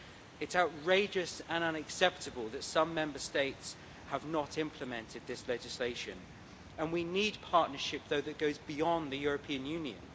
It's outrageous and unacceptable that some Member States have not implemented this legislation, though we also need partnership that goes beyond the European Union.